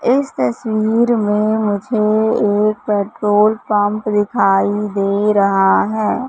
इस तस्वीर में मुझे एक पेट्रोल पंप दिखाई दे रहा है।